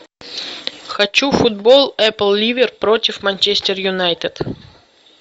хочу футбол апл ливер против манчестер юнайтед